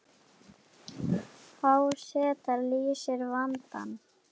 Há seta leysir vandann